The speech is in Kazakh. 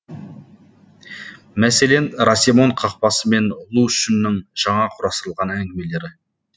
мәселен расемон қақпасы мен лу шүннің жаңа құрастырылған әңгімелері